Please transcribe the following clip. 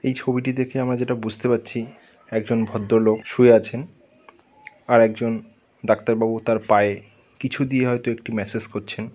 এই ছবিটি দেখে আমার যেটা বুঝতে পারছি একজন ভদ্রলোক শুয়ে আছেন আর একজন ডাক্তারবাবু তার পায়ে কিছু দিয়ে হয়তো একটি মেসেজ করছেন।